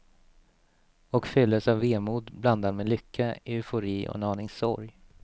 Och fylldes av vemod blandad med lycka, eufori och en aning sorg.